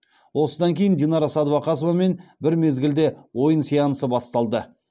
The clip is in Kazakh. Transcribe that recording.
осыдан кейін динара сәдуақасовамен бір мезгілде ойын сеансы басталды